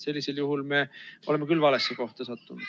Sellisel juhul oleme küll valesse kohta sattunud.